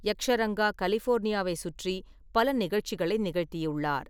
யக்ஷரங்கா கலிஃபோர்னியாவை சுற்றி பல நிகழ்ச்சிகளை நிகழ்த்தியுள்ளார்.